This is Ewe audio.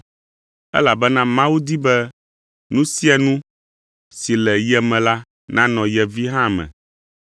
Elabena Mawu di be nu sia nu si le ye me la nanɔ ye Vi hã me.